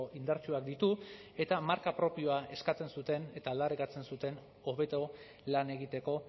indartsuak ditu eta marka propioa eskatzen zuten eta aldarrikatzen zuten hobeto lan egiteko